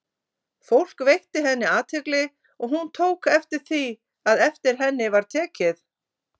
Fólk veitti henni athygli, og hún tók eftir því, að eftir henni var tekið.